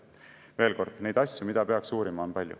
Veel kord, neid asju, mida peaks uurima, on palju.